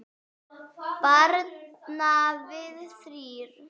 Bara við þrír.